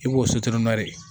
I b'o sotrɔn de